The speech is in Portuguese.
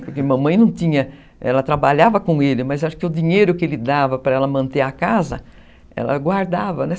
Porque mamãe não tinha, ela trabalhava com ele, mas acho que o dinheiro que ele dava para ela manter a casa, ela guardava, né?